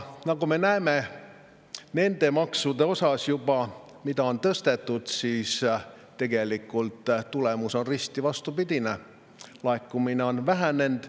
Nagu me näeme nendest maksudest, mida juba on tõstetud, tegelikult tulemus on risti vastupidine: laekumine on vähenenud.